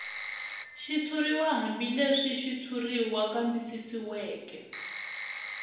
xitshuriw hambileswi xitshuriwa kambisisiweke